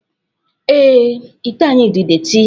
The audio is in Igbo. Ee, ite anyị dị detị